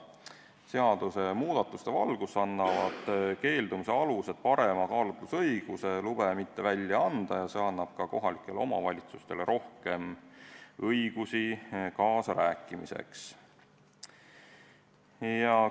Seadusemuudatuste valguses annavad keeldumise alused parema kaalutlusõiguse, miks lube mitte välja anda, ja see annab ka kohalikele omavalitsustele rohkem õigusi kaasa rääkida.